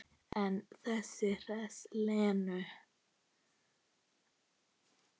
En það hressir Lenu.